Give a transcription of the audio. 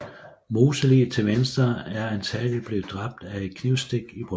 Moseliget til venstre er antagelig blevet dræbt af et knivstik i brystet